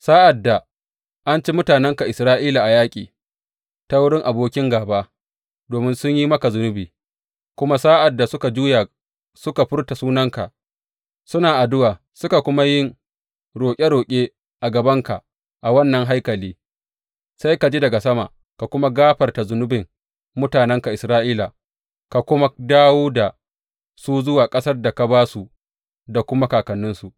Sa’ad da an ci mutanenka Isra’ila a yaƙi ta wurin abokin gāba domin sun yi maka zunubi kuma sa’ad da suka juya suka furta sunanka, suna addu’a suka kuma yin roƙe roƙe a gabanka a wannan haikali, sai ka ji daga sama ka kuma gafarta zunubin mutanenka Isra’ila ka kuma dawo da su zuwa ƙasar da ka ba su da kuma kakanninsu.